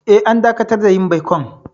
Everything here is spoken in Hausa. Eh, an dakatar da yin baikon.